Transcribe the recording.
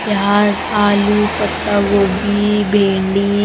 प्याज आलू पत्तागोभी भिंडी --